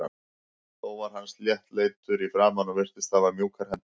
Þó var hann sléttleitur í framan og virtist hafa mjúkar hendur.